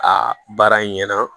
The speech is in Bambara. A baara ɲɛna